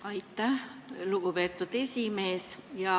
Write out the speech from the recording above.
Aitäh, lugupeetud esimees!